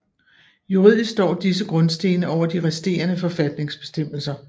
Juridisk står disse grundstene over de resterende forfatningsbestemmelser